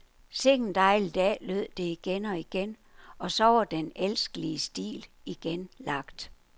Sikken dejlig dag lød det igen og igen, og så var den elskelige stil igen lagt.